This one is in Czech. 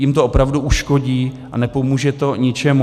Jim to opravdu uškodí a nepomůže to ničemu.